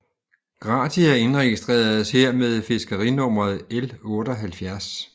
Gratia indregistreres her med fiskerinummeret L 78